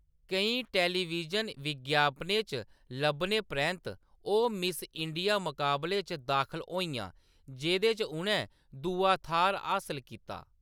केईं टेलीविजन विज्ञापनें च लब्भने परैंत्त, ओह् मिस इंडिया मकाबले च दाखल होइयां, जेह्‌‌‌दे च उʼनैं दूआ थाह्‌‌‌र हासल कीता।